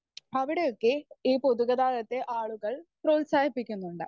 Speaker 1 അവിടെയൊക്കെ ഈ പൊതു ഗതാഗതത്തെ ആളുകൾ പ്രോത്സാഹിപ്പിക്കുന്നുണ്ട്.